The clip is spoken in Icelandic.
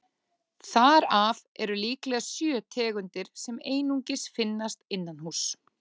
Þar af eru líklega sjö tegundir sem einungis finnast innanhúss.